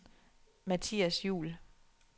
Mathias Juul